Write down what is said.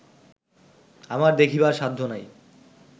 আমার দেখিবার সাধ্য নাই